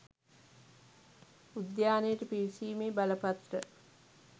උද්‍යානයට පිවිසීමේ බලපත්‍ර